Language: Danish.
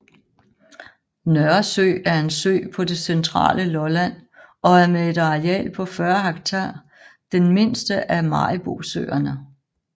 Nørresø er en sø på det centrale Lolland og er med et areal på 40 hektar den mindste af Maribosøerne